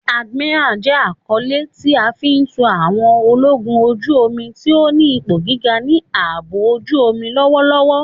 Admiral jẹ akọle ti a fi fun àwọn ologun oju-omi ti o ni ipo giga ni aabo ojuomi lọwọlọwọ.